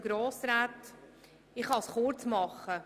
Ich kann mich kurz fassen.